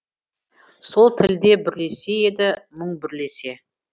сол тілде бүрлесе еді мұң бүрлесе